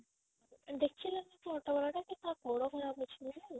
ଦେଖିଲା ସେ auto ଵାଲା ଟା ତା ଗୋଡ ଖରାପ ଅଛି ବୋଲି